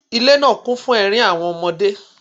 Ile naa kun fun ẹrin awọn ọmọde.